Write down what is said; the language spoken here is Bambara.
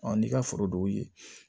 n'i ka foro dɔw ye